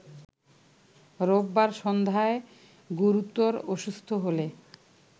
রোববার সন্ধ্যায় গুরুতর অসুস্থ হলে